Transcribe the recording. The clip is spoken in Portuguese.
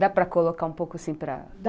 Dá para colocar um pouco assim para... Dá!